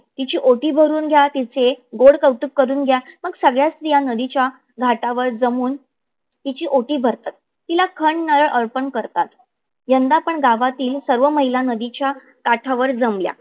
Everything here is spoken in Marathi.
तीची ओटी भरून घ्या. तीचे गोड कौतुक करून घ्या. मग सगळ्या स्त्रीया नदीच्या घाटावर जमून तीची ओटी भरतात. तिला खण नारळ अर्पण करतात. यदा पण गावातील सर्व महिला नदीच्या काठावर जमल्या.